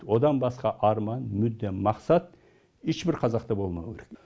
одан басқа арман мүдде мақсат ешбір қазақта болмауы керек